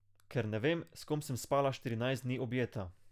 Ker ne vem, s kom sem spala štirinajst dni objeta.